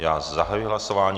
Já zahajuji hlasování.